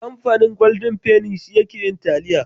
Kamfanin Golden penny shi yake yin taliya.